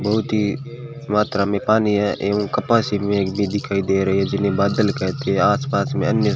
बहुत ही मात्रा में पानी है एवं कपासी मेघ भी दिखाई दे रही है जिन्हें बादल कहते आस पास में अन्य --